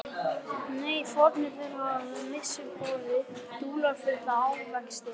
Nei, fórnir þeirra höfðu með vissu borið dularfulla ávexti.